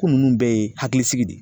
Ko nunnu bɛɛ ye hakilisigi de ye.